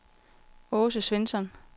Aase Svensson